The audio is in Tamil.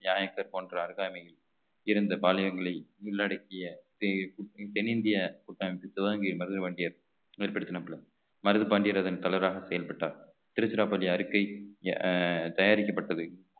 நாயக்கர் போன்ற அருகாமையில் இருந்த பாளையங்களை உள்ளடக்கிய தெ~ தென்னிந்திய கூட்டமைப்பு துவங்கி மருதுபாண்டியர் ஏற்படுத்தின பொழுது மருதுபாண்டியர் அதன் தலைவராக செயல்பட்டார் திருச்சிராப்பள்ளி அறிக்கை அஹ் தயாரிக்கப்பட்டது